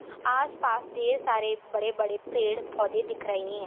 आसपास दिये सारे बडे बडे पेड पौधे दिख रहे है।